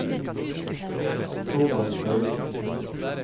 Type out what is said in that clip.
Thomas Paulsen